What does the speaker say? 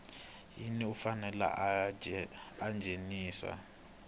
wini u fanele a nghenisa